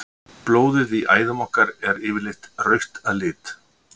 blóðið í æðum okkar er yfirleitt rautt að lit